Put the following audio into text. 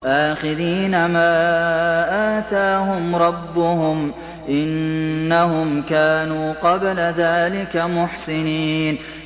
آخِذِينَ مَا آتَاهُمْ رَبُّهُمْ ۚ إِنَّهُمْ كَانُوا قَبْلَ ذَٰلِكَ مُحْسِنِينَ